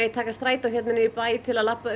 taka strætó niður í bæ til að labba